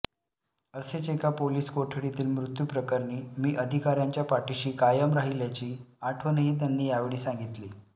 असेच एका पोलीस कोठडीतील मृत्यू प्रकरणी मी अधिकाऱ्यांच्या पाठीशी कायम राहिल्याची आठवणही त्यांनी यावेळी सांगितली